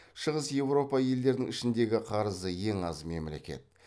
шығыс еуропа елдерінің ішіндегі қарызы ең аз мемлекет